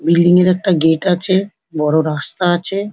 Building -এর একটা gate আছে বড় রাস্তা আছে।